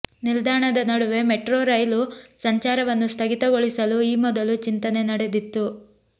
ನಿಲ್ದಾಣದ ನಡುವೆ metro rail ಸಂಚಾರವನ್ನು ಸ್ಥಗಿತಗೊಳಿಸಲು ಈ ಮೊದಲು ಚಿಂತನೆ ನಡೆದಿತ್ತು